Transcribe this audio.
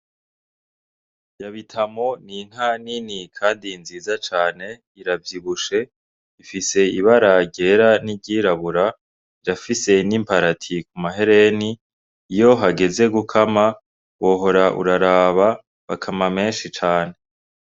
Yabitamo n'inka nini kandi nziza cane iravyibushe ifise ibara ryera n'iryirabura irafise n'iparati ku mahereni iyo hageze gukama wohora uraraba bakama menshi cane.